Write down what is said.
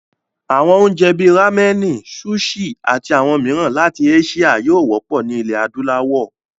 Àwọn oúnjẹ bíi ráménì, súṣì, ati àwọn mìíràn láti áṣíà yóò wọ́pọ̀ ní ilẹ̀ adúláwọ̀.